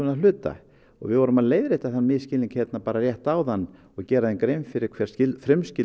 að hluta og við vorum að leiðrétta þann misskilning bara rétt áðan og gera þeim grein fyrir hverjar